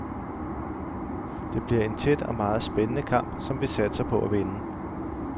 Det bliver en tæt og meget spændende kamp, som vi satser på at vinde.